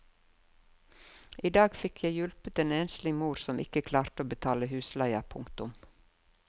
I dag fikk jeg hjulpet en enslig mor som ikke klarte å betale husleia. punktum